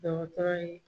Dɔgɔtɔrɔ ye